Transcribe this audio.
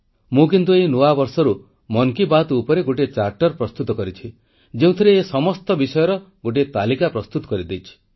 ମୁଁ କିନ୍ତୁ ଏହି ନୂଆ ବର୍ଷରୁ ମନ୍ କୀ ବାତ୍ ଉପରେ ଗୋଟିଏ ଚାର୍ଟର ପ୍ରସ୍ତୁତ କରିଛି ଯେଉଁଥିରେ ଏ ସମସ୍ତ ବିଷୟର ଗୋଟିଏ ତାଲିକା ପ୍ରସ୍ତୁତ କରିଦେଇଛି